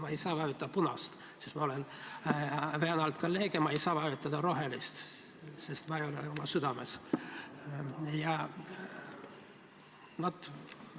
Ma ei saa vajutada punast, sest ma olen kolleeg, ja ma ei saa vajutada rohelist, sest ma ei ole sellega oma südames nõus.